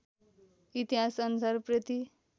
इतिहास अनुसार उप्रेती